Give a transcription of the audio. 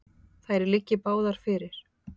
Þær liggi báðar fyrir.